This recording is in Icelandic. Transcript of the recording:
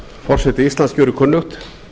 forseti íslands gjörir kunnugt